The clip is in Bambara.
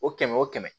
O kɛmɛ o kɛmɛ